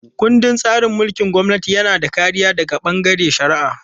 Ƙundin tsarin mulkin gwamnati yana da kariya daga bangaren shari'a.